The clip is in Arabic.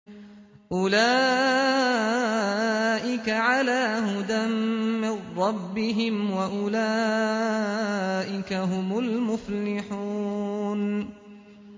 أُولَٰئِكَ عَلَىٰ هُدًى مِّن رَّبِّهِمْ ۖ وَأُولَٰئِكَ هُمُ الْمُفْلِحُونَ